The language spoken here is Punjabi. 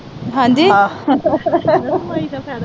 ਹਾਂਜੀ।